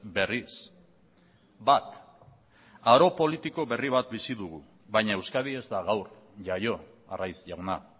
berriz bat aro politiko berri bat bizi dugu baina euskadi ez da gaur jaio arraiz jauna